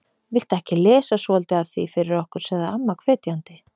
Viltu ekki lesa svolítið af því fyrir okkur sagði amma hvetjandi.